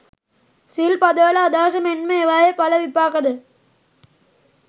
සිල් පදවල අදහස මෙන්ම ඒවායේ ඵල විපාකද